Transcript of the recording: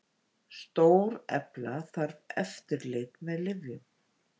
Stórefla þarf eftirlit með lyfjum